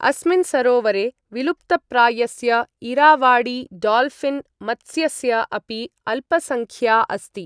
अस्मिन् सरोवरे, विलुप्तप्रायस्य इरावाडी डॉल्फिन् मत्स्यस्य अपि अल्पसङ्ख्या अस्ति।